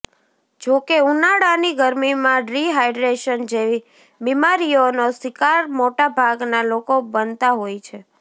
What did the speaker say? જો કે ઉનાળાની ગરમીમાં ડ્રી હાઇડ્રેશન જેવી બીમારીઓનો શિકાર મોટાભાગના લોકો બનતા હોય છે